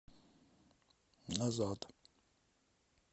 назад